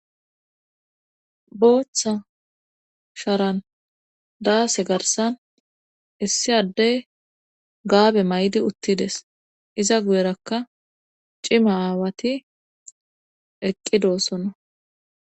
Booththa sharan daase garsan issi addey gaabe maydi uttides iza guyerakka cima aawati eqqidoossona.